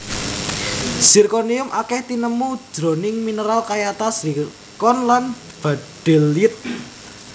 Zirkonium akèh tinemu jroning mineral kayata zirkon lan baddelyit